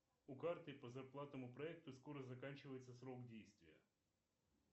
у карты по зарплатному проекту скоро заканчивается срок действия